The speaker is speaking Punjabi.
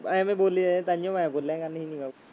ਇਵੇਂ ਬੋਲੀ ਜਾਂਦਾ ਤਾਂਹਿਓ ਮੈਂ ਬੋਲਿਆ ਗਾ ਨਹੀਂ ਨੀਗਾ।